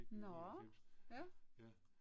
Nåh ja